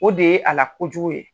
O de ye a la kojugu ye.